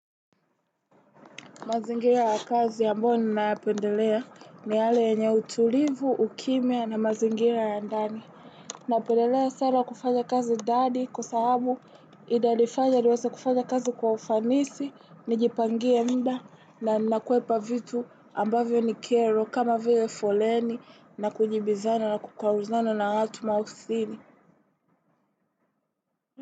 Mazingira ya kazi ambayo ninayapendelea ni yale yenye utulivu, ukimya na mazingira ya ndani. Naependelea sana kufanya kazi ndani kwa sababu inanifanya niwaze kufanya kazi kwa ufanisi, nijipangie muda na nakwepa vitu ambavyo ni kero kama vile foleni na kujibizana na kukwaruzana na watu maofisini.